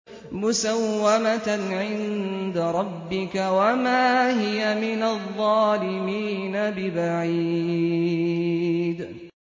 مُّسَوَّمَةً عِندَ رَبِّكَ ۖ وَمَا هِيَ مِنَ الظَّالِمِينَ بِبَعِيدٍ